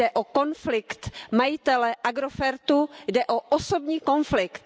Jde o konflikt majitele Agrofertu, jde o osobní konflikt.